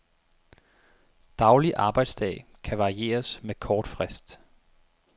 Daglig arbejdsdag kan varieres med kort frist.